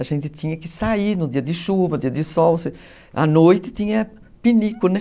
A gente tinha que sair no dia de chuva, dia de sol, a noite tinha pinico, né?